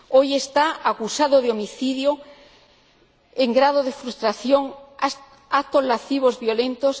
Hoy está acusado de homicidio en grado de frustración y actos lascivos violentos